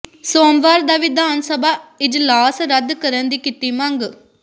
ਸੋਮਵਾਰ ਦਾ ਵਿਧਾਨ ਸਭਾ ਇਜਲਾਸ ਰੱਦ ਕਰਨ ਦੀ ਕੀਤੀ ਮੰਗ